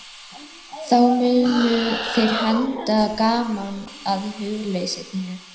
Þá munu þeir henda gaman að hugleysi þínu.